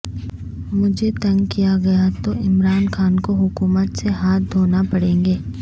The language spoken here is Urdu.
مجھے تنگ کیا گیا تو عمران خان کو حکومت سے ہاتھ دھوناپڑینگے